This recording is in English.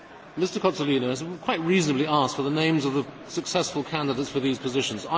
Mr Sonik has quite reasonably asked for the names of the successful candidates for these positions.